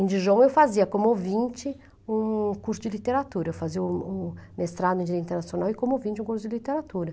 Em Dijon, eu fazia como ouvinte um curso de literatura, eu fazia um um mestrado em Língua Internacional e como ouvinte um curso de literatura.